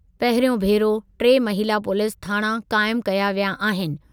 पहिरियों भेरो टे महिला पुलीस थाणा क़ाइमु कया विया आहिनि।